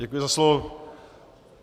Děkuji za slovo.